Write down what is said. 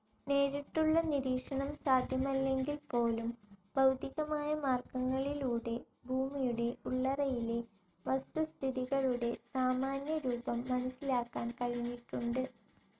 നേരിട്ടുള്ള നിരീക്ഷണം സാധ്യമല്ലെങ്കിൽപോലും, ഭൌതികമായ മാർഗങ്ങളിലൂടെ ഭൂമിയുടെ ഉള്ളറയിലെ വസ്തുസ്ഥിതികളുടെ സാമാന്യരൂപം മനസ്സിലാക്കാൻ കഴിഞ്ഞിട്ടുണ്ട്.